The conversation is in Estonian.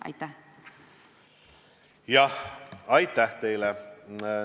Aitäh teile!